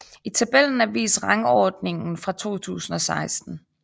I tabellen er vist rangordningen for 2016